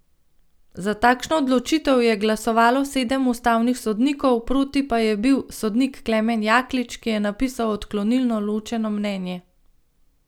Za takšno odločitev je glasovalo sedem ustavnih sodnikov, proti pa je bil sodnik Klemen Jaklič, ki je napisal odklonilno ločeno mnenje.